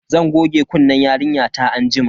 Zan goge kunnen yarinyata anjima.